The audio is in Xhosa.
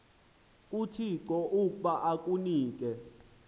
kuthixo ukuba akunike